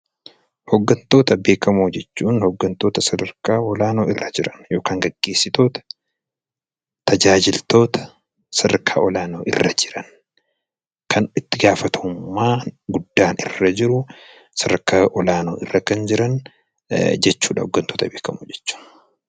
Hooggantoota beekamoo jechuun hooggantoota sadarkaa beekamoo irra jiran yookaan gaggeessitoota , tajaajiloota sadarkaa olaanoo irra jiran kan itti itti gaafatamummaa guddaan irra jiru jechuudha .